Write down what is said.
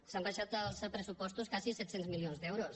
s’han abaixat els pressupostos quasi set cents milions d’euros